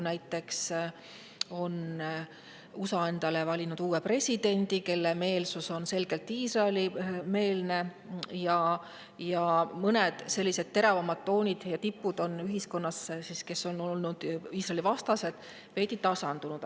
Näiteks on USA endale valinud uue presidendi, kes on selgelt Iisraeli-meelne, ja sellised teravamad Iisraeli-vastased toonid on ühiskonnas veidi tasandunud.